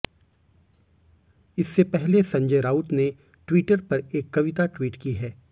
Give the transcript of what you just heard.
इससे पहले संजय राउत ने ट्वीटर पर एक कविता ट्वीट की है